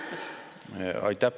Aitäh!